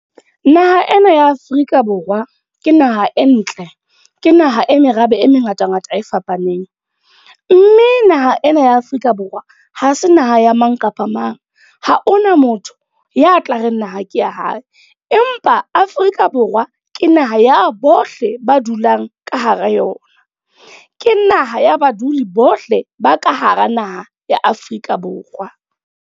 Naha ena ya Afrika Borwa, ke naha e ntle. Ke naha e merabe e mengata-ngata e fapaneng. Mme naha ena ya Afrika Borwa, ha se naha ya mang kapa mang. Ha hona motho ya tla reng naha ke ya hae. Empa Afrika Borwa, ke naha ya bohle ba dulang ka hara yona. Ke naha ya baduli bohle ba ka hara naha ya Afrika Borwa.